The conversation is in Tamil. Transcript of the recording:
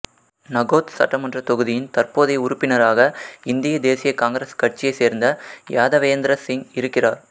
நகோத் சட்டமன்றத் தொகுதியின் தற்போதைய உறுப்பினராக இந்திய தேசிய காங்கிரஸ் கட்சியைச் சேர்ந்த யாதவேந்திர சிங் இருக்கிறார்